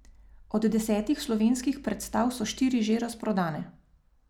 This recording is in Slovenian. Od desetih slovenskih predstav so štiri že razprodane.